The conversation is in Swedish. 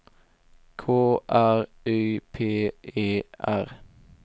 K R Y P E R